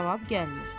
Cavab gəlmir.